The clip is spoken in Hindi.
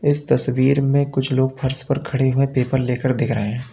इस तस्वीर में कुछ लोग फर्श पर खड़े हुए पेपर लेकर देख रहे हैं।